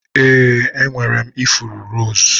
Ee, enwere m ifuru rose.